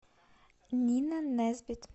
нина несбит